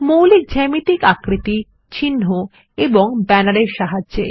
মৌলিক জ্যামিতিক আকৃতি চিহ্ন এবং ব্যানার এর সাহায্যে